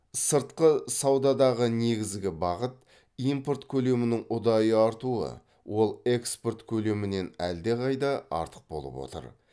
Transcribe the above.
сыртқы саудадағы негізгі бағыт импорт көлемінің ұдайы артуы ол экспорт көлемінен әлдеқайда артық болып отыр